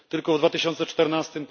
Tylko w 2014